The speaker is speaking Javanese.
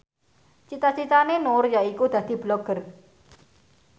cita citane Nur yaiku dadi Blogger